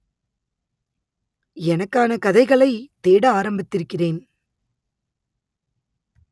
எனக்கான கதைகளை தேட ஆரம்பித்திருக்கிறேன்